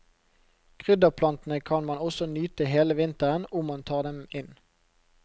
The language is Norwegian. Krydderplantene kan man også nyte hele vinteren ,om man tar dem inn.